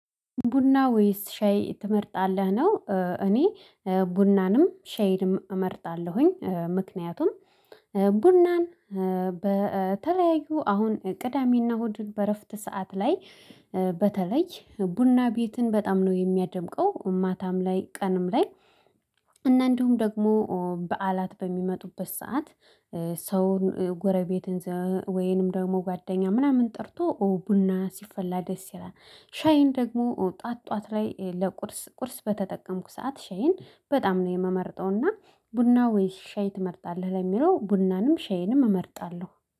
ቡና ወይስ ሻይ ትመርጣለህ? ነው እኔ ቡናንም ሻይንም እመርጣለሁኝ ምክንያቱም ቡናን በተለያዩ አሁን ቅዳሜና እሁድን በእረፍት ሰዓት ላይ በተለይ ቡና ቤትን በጣም ነው የሚያደምቀው ማታም ላይ ቀንም ላይ። እና እንዲሁም ደግሞ በዓላት በሚመጡበት ሰዓት ሰውን ጎረቤትን ወይንም ደግሞ ጓደኛ ምናምን ጠርቶ ኦ ቡና ሲፈላ ደስ ይላል። ሻይን ደግሞ ኦ ጧት ጧት ላይ ለቁርስ ቁርስ በተጠቀምኩ ሰዓት ሻይን በጣም ነው የምመርጠው። እና ቡና ወይስ ሻይ ትመርጣለህ? ለሚለው ቡናንም ሻይንም እመርጣለሁ